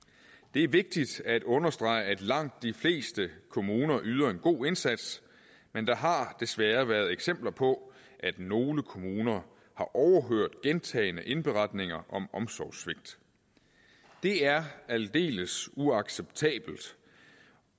det er vigtigt at understrege at langt de fleste kommuner yder en god indsats men der har desværre været eksempler på at nogle kommuner har overhørt gentagne indberetninger om omsorgssvigt det er aldeles uacceptabelt